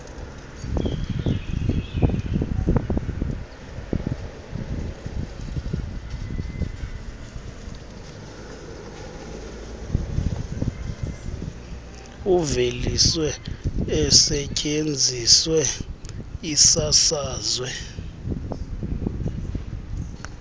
iveliswe isetyenziswe isasazwe